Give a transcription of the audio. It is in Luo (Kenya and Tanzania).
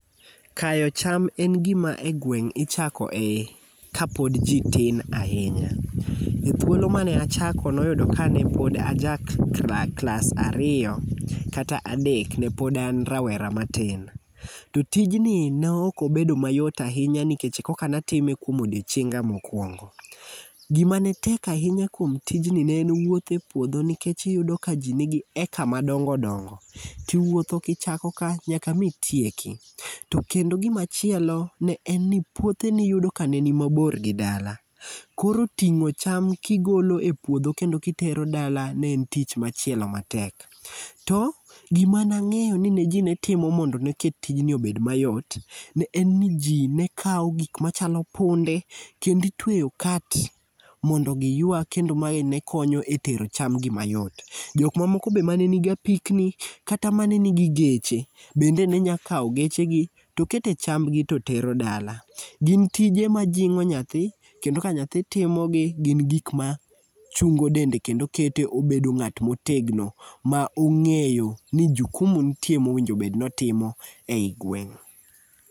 Kayo cham en gima e gweng' ichako e kapod ji tin ahinya. E thuolo mane achako ne oyudo kane pod aja klas ariyo kata adek, ne pod an rawera matin. To tijni nokobedo mayot ahinya nikech koka natime kuom odiochienga mokwongo. Gima netek ahinya kuom tijni ne en wuotho e puodho nikech iyudo ka ji nigi acre madongo dongo, tiwuotho kichako ka nyaka mitieki. To kendo gimachielo ne en ni puothe niyudo ka ne ni mabor gi dala. Koro ting'o cham kigolo e puodho kendo kitero dala ne en tich machielo matek. To gima nang'eyo ni ne ji ne timo mondo neket tijni obed mayot, en ni ji ne kawo gik machalo punde kendo itweyo cart mondo giyua kendo mae ne konyo e tero chamgi mayot. Jok mamoko be ma ne nigi apikni kata mane nigi geche bende ne nya kawo gechegi to kete chambgi to tero dala. Gin tije majing'o nyathi kendo ka nyathi timogi, gin gik machungo dende kendo kete obedo ng'at motegno ma ong'eyo ni jukumu nitie mowinjo bed notimo ei gweng'.